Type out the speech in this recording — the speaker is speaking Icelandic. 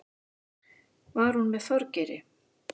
Var hún með Þorgeiri?